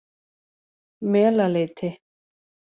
Melaleiti